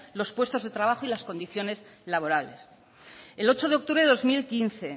los puestos de trabajos y las condiciones laborales el ocho de octubre de dos mil quince